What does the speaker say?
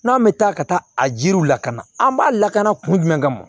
N'an bɛ taa ka taa a jiriw lakana an b'a lakana kun jumɛn kama